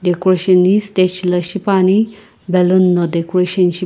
decoration ghi stage la shipuani balloon no decoration ship--